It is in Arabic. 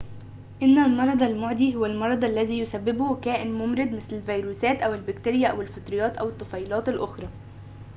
إن المرض المعدي هو المرض الذي يسببّه كائن ممرض مثل الفيروسات أو البكتيريا أو الفطريّات أو الطفيليّات الأخرى